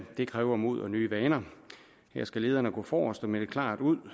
det kræver mod og nye vaner her skal lederne gå forrest og melde klart ud